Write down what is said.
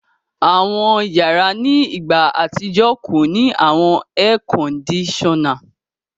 Àwọn yàrà ni ìgbà atijọ̀ kọ ni awọn èèkọ́ndìsọ́na.